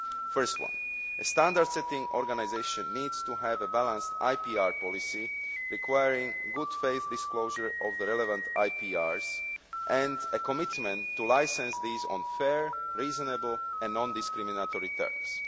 The first is that a standard setting organisation needs to have a balanced IPR policy, requiring good faith disclosure of the relevant IPRs, and a commitment to licensing these on fair, reasonable and non discriminatory terms.